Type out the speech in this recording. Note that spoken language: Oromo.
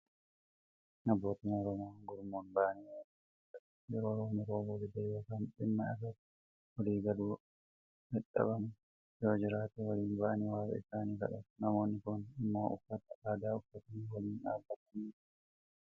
Abbootiin Oromoo gurmuun ba'anii waaqa isaanii kadhatu. Yoo roobni roobuu dide yookaan dhimma irratti walii galuun dadhabame yoo jiraate, waliin ba'anii waaqa isaanii kadhatu. Namoonni Kun immoo uffata adii uffatanii waliin dhaabbatanii jiru.